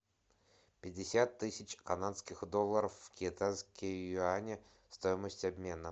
пятьдесят тысяч канадских долларов в китайские юани стоимость обмена